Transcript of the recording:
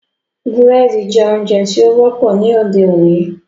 Búrẹ́dì jẹ́ oúnjẹ tí ó wọ́pọ̀ ní òde-òní.